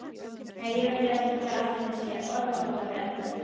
Nei, ég veit ekki hvar allur þessi orðaforði endar.